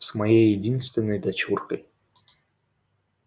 с моей единственной дочуркой